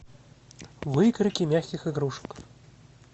выкройки мягких игрушек